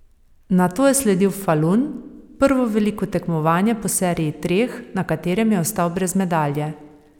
Nato je sledil Falun, prvo veliko tekmovanje po seriji treh, na katerem je ostal brez medalje.